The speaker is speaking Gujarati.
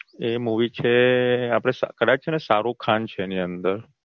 એ Movie છે આપણે કદાચ શાહરુખ ખાન છે એની અંદર